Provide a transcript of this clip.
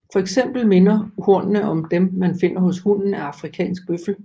For eksempel minder hornene om dem man finder hos hunnen af afrikansk bøffel